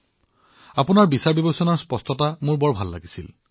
মই আপোনাৰ চিন্তাৰ স্পষ্টতা ভাল পাইছিলো